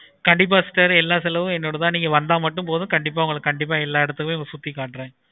கண்டிப்பா sister எல்லா செலவும் என்னோடது தான் நீங்க வந்த மட்டும் போதும். எல்லா இடத்தையும் சுத்தி காட்டுறேன்.